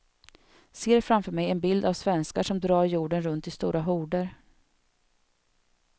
Ser framför mig en bild av svenskar som drar jorden runt i stora horder.